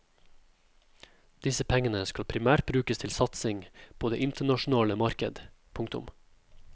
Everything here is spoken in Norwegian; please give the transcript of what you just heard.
Disse pengene skal primært brukes til satsing på det internasjonale marked. punktum